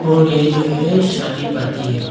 और ये जो है शादी पार्टी है।